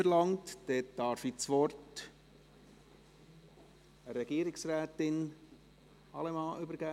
Dann darf ich das Wort Regierungsrätin Allemann übergeben.